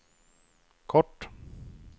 kort